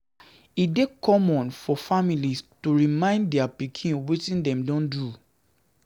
E dey common for families to remind dia pikin wetin dem don do.